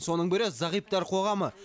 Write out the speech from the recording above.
соның бірі зағиптар қоғамы